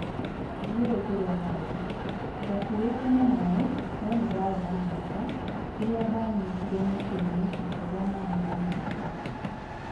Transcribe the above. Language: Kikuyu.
Ndiũĩ kũrĩa marĩ: ndakuuĩtwo nĩ maĩ no nĩ ndaarĩ na munyaka rĩrĩa ndaanyitire mũtĩinĩ nginya rĩrĩa maĩ manyivire.